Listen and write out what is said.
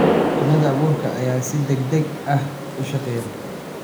Mashiinada abuurka ayaa si degdeg ah u shaqeeya.